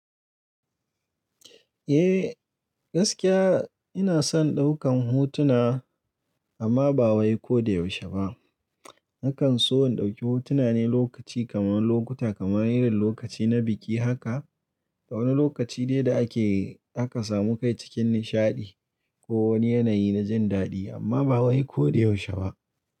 Eh gaskiya ina son ɗaukan hotuna amma ba wai ko da yaushe ba. Nakan so in dauki hotuna ne lokaci kamar lokuta kamar irin lokaci na biki haka. Da wani lokaci dai da ake haka samu kai cikin nishaɗi ko wani yanayi na jin daɗi amma ba wai ko da yaushe ba.